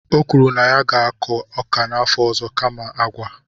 o kwuru na ya ga-akọ ọka n'afọ ọzọ kama agwa.